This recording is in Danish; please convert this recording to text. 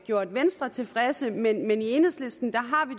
gjort venstre tilfreds men i enhedslisten